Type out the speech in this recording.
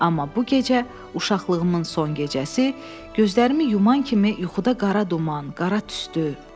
Amma bu gecə uşaqlığımın son gecəsi, gözlərimi yuman kimi yuxuda qara duman, qara tüstü.